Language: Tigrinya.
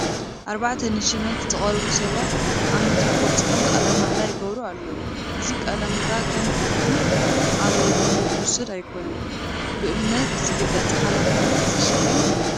ኣርባዕተ ንሽመት ዝቐረቡ ሰባት ኣብ መድረኽ ወፂኦም ቃለ ማሕላ ይገብሩ ኣለዉ፡፡ እዚ ቃለ ማሕላ ከም ትርጉም ኣልቦ ልምዲ ዝውሰድ ኣይኮነን፡፡ ብእምነት ዝግለፅ ሓላፍነት ዘሽክም እዩ፡፡